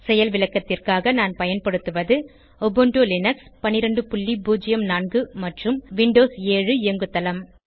செயல் விளக்கத்திற்காக நான் பயன்படுத்துவது உபுண்டு லினக்ஸ் 1204 மற்றும் விண்டோஸ 7 இயங்குதளம்